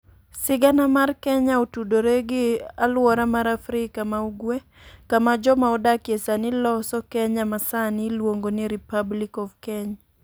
Sigana mar Kenya otudore gi alwora mar Afrika ma Ugwe, kama joma odakie sani loso Kenya ma sani iluongo ni Republic of Kenya.